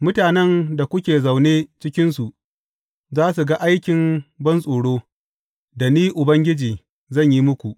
Mutanen da kuke zaune cikinsu za su ga aikin bantsoro, da Ni Ubangiji zan yi muku.